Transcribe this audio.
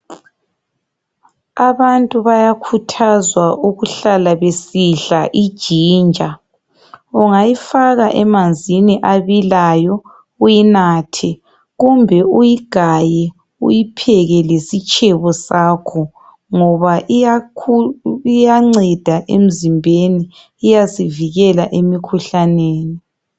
Abantu bayakhuthazwa ukuhlala besidla IGinger ungayifaka emanzini abilayo uyinathe kumbe uyigaye uyipheke lesitshebo sakho ngoba iyanceda emzimbeni .Iyasivikela emikhuhlaneni .